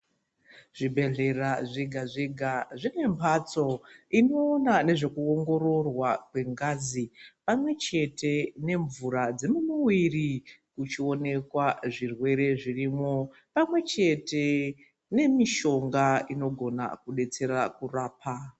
Zvibhedhlera zvega zvega zvine mphatso inoona nezvekuongororwa kwengazi pamwechete nemvura dzemumuwiri kuchioneka zvirwere zvirimo pamwechete nemishonga inogona kudetsera kurapa.